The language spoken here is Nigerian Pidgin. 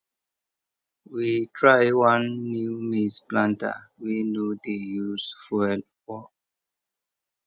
we try one new maize planter wey no dey use fuel work